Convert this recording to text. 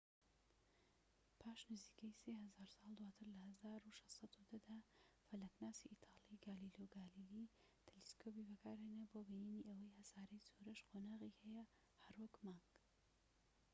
پاش نزیکەی سێ هەزار ساڵ دواتر، لە ١٦١٠ دا، فەلەكناسی ئیتالی گالیلۆ گالیلی تەلەسکۆبێکی بەکارهێنا بۆ بینینی ئەوەی هەساری زوهرەش قۆناغی هەیە، هەر وەك مانگ